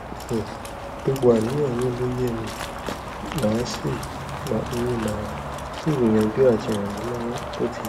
um gbogbo àníyàn yín ló yé mi màá sì mi màá sì gbìyànjú àti ràn yín lọwọ bó ti yẹ